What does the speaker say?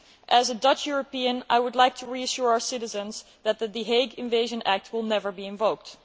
As a Dutch European, I would like to reassure our citizens that the Hague Invasion Act' will never be invoked.